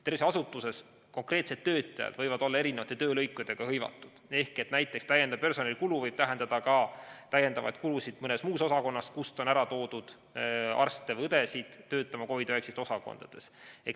Tervishoiuasutuses võivad konkreetsed töötajad olla erinevates töölõikudes hõivatud, näiteks täiendav personalikulu võib tähendada ka täiendavaid kulusid mõnes muus osakonnas, kust on ära toodud arste või õdesid töötama COVID‑19 osakondades.